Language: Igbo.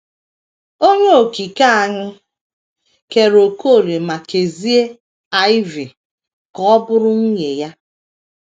Onye Okike anyị kere Okolie ma kezie Iv ka ọ bụrụ nwunye ya.